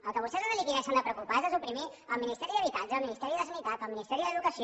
el que vostès han de liquidar i s’han de preocupar és de suprimir el ministeri d’habitatge el ministeri de sanitat el ministeri d’educació